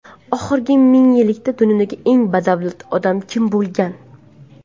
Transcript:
Oxirgi ming yillikda dunyoning eng badavlat odami kim bo‘lgan?